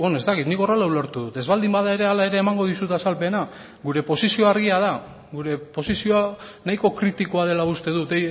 ez dakit nik horrela ulertu dut ez baldin bada ere hala ere emango dizut azalpena gure posizioa argia da gure posizioa nahiko kritikoa dela uste dut